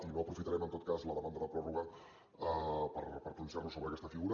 i no aprofitarem en tot cas la demanda de pròrroga per pronunciar nos sobre aquesta figura